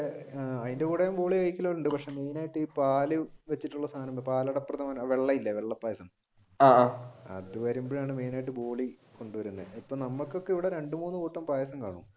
അതിന്റെം കൂടെ കഴിക്കുന്നവരുണ്ട് main ആയിട്ട് പാൽ വെച്ചിട്ടുള്ള സാധനമുണ്ട് പാലട പ്രഥമൻ വെള്ള ഇല്ലേ വെള്ള പായസം അതുവരുമ്പോഴാണ് main ആയിട്ട് നമുക്കൊക്കെ ഇവിടെ രണ്ടു മൂന്നു കൂട്ടം പായസം കാണും.